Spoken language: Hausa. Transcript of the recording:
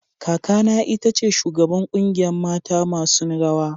Kaka na ita ce shugaban kungiyan matan masun rawa.